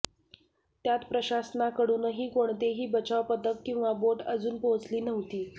त्यात प्रशासनाकडूनही कोणतेही बचाव पथक किंवा बोट अजून पाहेचली नव्हती